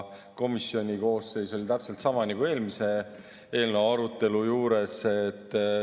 Komisjoni koosseis oli täpselt sama nagu eelmise eelnõu arutelul.